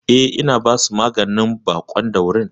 Eh, ina basu maganin baƙon daurin.